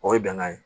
O ye bɛnkan ye